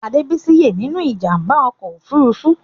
Adebisi ye nínú ìjàmbá ọkọ òfurufú.